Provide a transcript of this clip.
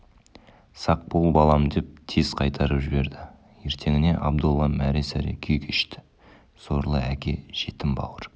сақ бол балам деп тез қайтарып жіберді ертеңіне абдолла мәре-сәре күй кешті сорлы әке жетім бауыр